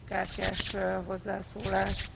Frau Präsidentin, geschätzte Kollegen!